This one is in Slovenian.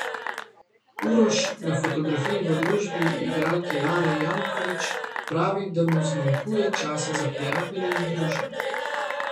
Uroš, na fotografiji v družbi igralke Lare Jankovič, pravi, da mu zmanjkuje časa za prijatelje in druženje.